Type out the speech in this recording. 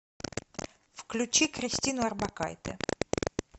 включи кристину орбакайте